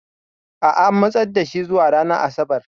A'a, an matsar da shi zuwa ranar Asabar.